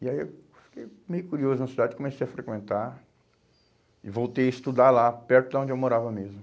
E aí eu fiquei meio curioso na cidade, comecei a frequentar e voltei a estudar lá, perto de onde eu morava mesmo.